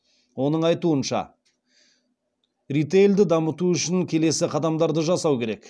оның айтуынша ритейлді дамыту үшін келесі қадамдарды жасау керек